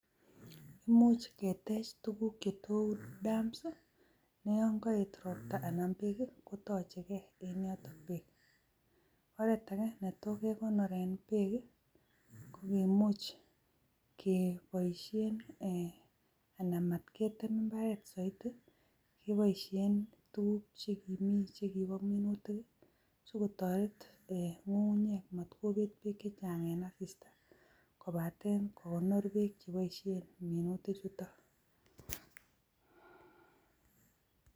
Imuch ketech tuguk che tou dams, yon koet ropta anan korobon kotoche ge en yoton beek. Ak kit age netot kegonoren beek ko kimuch keboisien anan motketem mbaret soiti keboishen tuguk che kimi che kibo minutik sikotoret ng'ung'unyek mot kobet beek chechang en asista. Kobaten kogonor beek che boishen en.